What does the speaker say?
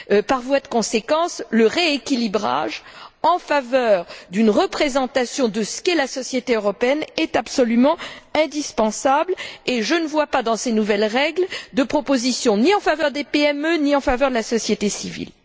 Par voie de conséquence, le rééquilibrage en faveur d'une représentation de ce qu'est la société européenne est absolument indispensable et je ne vois pas, dans ces nouvelles règles, de proposition ni en faveur des PME, ni en faveur de la société civile.